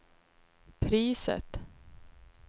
priset